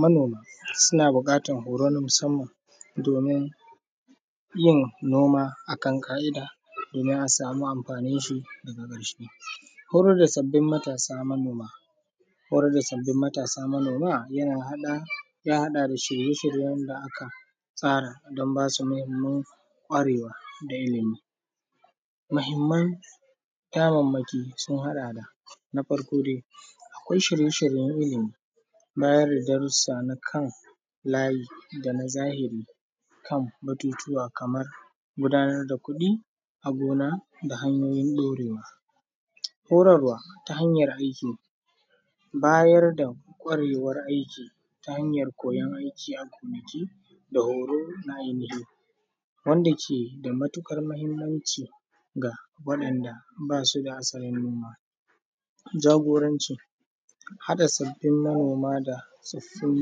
Manoma suna buƙatar horo na musamman domin yin noma a kan ka’ida, domin a samun amfanin shi a karshe, horar da sabbin matasa manoma horar da sabbi matasa manoma yana haɗa ya haɗa da shirye-shiryen da aka tsara don basu muhimman gwarewa da ilimi, muhimman damanmaki sun haɗa da na farko dai, akwai shirye-shiryen ilimi, bayar da darusa na kan layi da na zahiri kan batutuwa kamar gudanar da kuɗi a gona da hanyoyin ɗorewa, horarwa ta hanyar aiki, bayar da kwarewar aiki ta hanyar koyan aiki gonake da horo na ainihi wanda ke da matukar muhimmanci ga waɗanɗa basu da sanannu ma, jagoranci haɗa sabbin manoma da soffin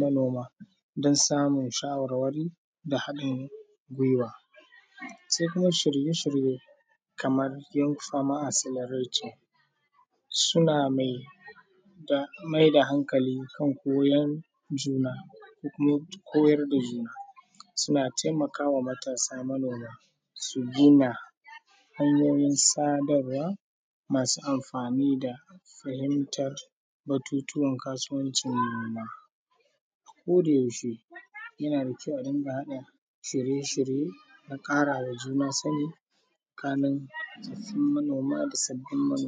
manoma don samun shawarwari da haɗin gwiwa, sai kuma shirye-shirye kamar young farmer accelerating, suna mai da hankali kan koyar juna ko kuma koyar da juna, suna taimakawa matasa manoma su daina hanyoyin sadarwa masu amfani da fahimtar batutuwar kasuwanci noma, a koda yaushe yana da kyau a ɗinka haɗa shirye-shirye na karawa juna sannin kanun tsofin manoma da sabbin manoma.